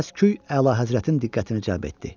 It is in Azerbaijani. Səsküy əlahəzrətin diqqətini cəlb etdi.